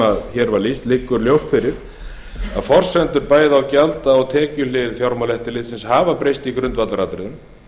var lýst liggur ljóst fyrir að forsendur bæði á gjalda og tekjuhlið fjármálaeftirlitsins hafa breyst í grundvallaratriðum